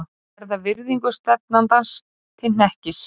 Verða virðingu stefnandans til hnekkis.